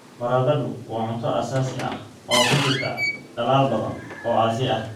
Baradhadu waa cunto aasaasi ah oo ku jirta dalal badan oo Aasiya ah.